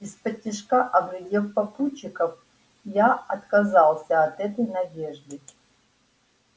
исподтишка оглядев попутчиков я отказался от этой надежды